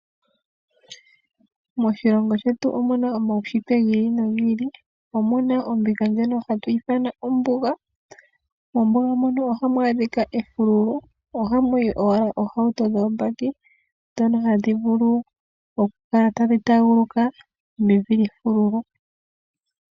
Moshilongo shetu omuna omaushitwe gi ili nogi ili omuna ombinga ndjono hatu ithana kutya ombuga. Mombuga mono ohamu adhika efululu ohamu yi owala oohauto dhombaki dhono hadhi vulu okutaaguluka mevi lyefululu.